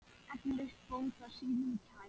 Eflaust bónda sínum kær.